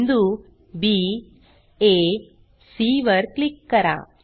बिंदू बी आ सी वर क्लिक करा